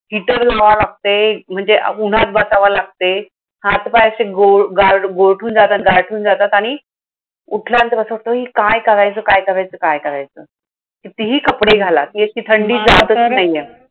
heater घ्यावा लागतंय, म्हणजे उन्हात बसावं लागतंय. हात पाय असे गो गा गोरठून जातात, गारठून जातात आणि उठल्यानंतर असं वाटतं, हे काय करायचं! काय करायचं! काय करायचं? कितीही कपडे घाला, हा खरं ती अशी थंडी जाताच नाहीये.